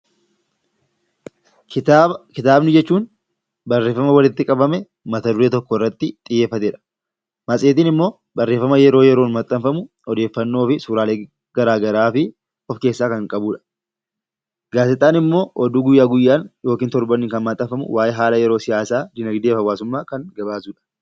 Kitaaba, kitaaba jechuun barreeffama waliitti qabame Mata-duree tokko irratti xiyyeeffatedha. Matseetiin immoo barreeffama yeroo yeroon maxxanfamuu, Odeeffannoo fi suuraalee garaagaraafi of keessaa Kan qabudha. Gaazexaan immoo oduu guyyaa guyyaan yookiin torbaniin Kan maxxanfamu waaee haala yeroo, siyaasa, dinagdeefi hawaasùmmaa Kan gabaasudha.